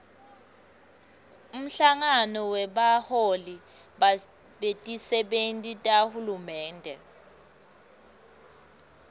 umhlangano webaholi betisebenti tahulumende